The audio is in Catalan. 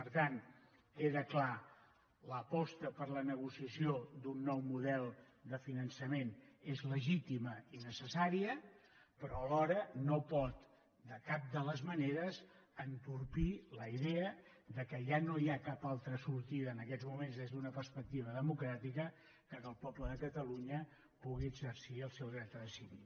per tant queda clar l’aposta per la negociació d’un nou model de finançament és legítima i necessària però alhora no pot de cap de les maneres entorpir la idea que ja no hi ha cap altra sortida en aquests moments des d’una perspectiva democràtica perquè el poble de catalunya pugui exercir el seu dret a decidir